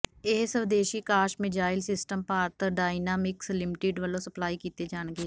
ਇਹ ਸਵਦੇਸੀ Akash missile system Bharat Dynamics Limited ਵੱਲੋਂ ਸਪਲਾਈ ਕੀਤੇ ਜਾਣਗੇ